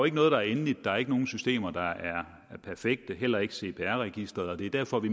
ikke noget der er endeligt der er ikke nogen systemer der er perfekte heller ikke cpr registeret og det er derfor vi